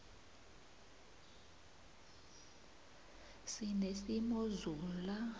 sinesimozula